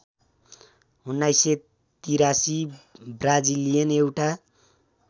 १९८३ Brazilian एउटा